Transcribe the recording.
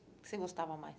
O que você gostava mais?